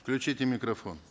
включите микрофон